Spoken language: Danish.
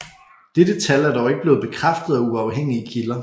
Dette tal er dog ikke blevet bekræftet af uafhængige kilder